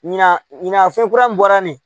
Ɲinan ɲinan fɛn kura min bɔra nin